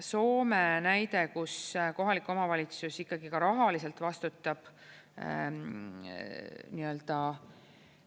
Soome näide, kus kohalik omavalitsus ikkagi ka rahaliselt vastutab